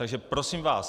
Takže, prosím vás...